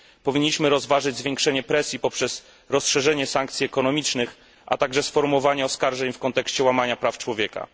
Powinniśmy rozważyć zwiększenie presji poprzez rozszerzenie sankcji ekonomicznych, a także sformułowanie oskarżeń w kontekście łamania praw człowieka.